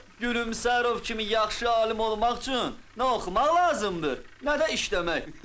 Gülyansarova kimi yaxşı alim olmaq üçün nə oxumaq lazımdır, nə də işləmək.